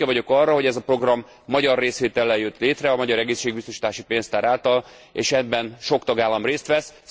Büszke vagyok arra, hogy ez a program magyar részvétellel jött létre a magyar egészségbiztosítási pénztár által, és ebben sok tagállam részt vesz.